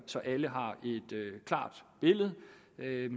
så alle har et klart billede